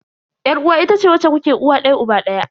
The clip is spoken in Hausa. Yar uwa itace wacce kuke uwa daya uba daya.